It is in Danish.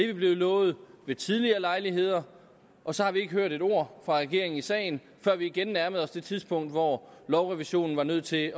vi blevet lovet ved tidligere lejligheder og så har vi ikke hørt et ord fra regeringen i sagen før vi igen nærmede os det tidspunkt hvor lovrevisionen var nødt til